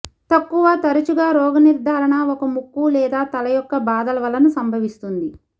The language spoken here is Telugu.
తక్కువ తరచుగా రోగనిర్ధారణ ఒక ముక్కు లేదా తల యొక్క బాధల వలన సంభవిస్తుంది